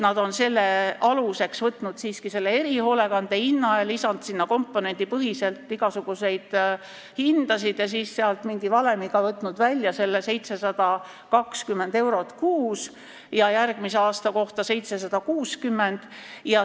Nad on aluseks võtnud erihoolekandeteenuse hinna ja lisanud sinna komponendipõhiselt igasuguseid hindu, sealt on nad mingi valemiga võtnud välja selle 720 eurot kuus ja järgmise aasta kohta 760.